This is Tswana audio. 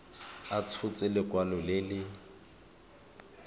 a tshotse lekwalo le le